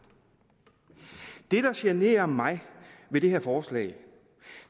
det der generer mig ved det her forslag